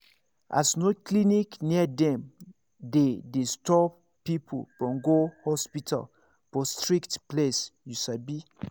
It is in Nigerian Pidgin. as no clinic near dem dey dey stop people from go hospital for strict place you sabi